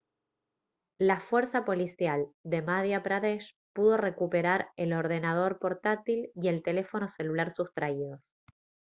la fuerza policial de madhya pradesh pudo recuperar el ordenador portátil y el teléfono celular sustraídos